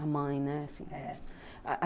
A mãe, né?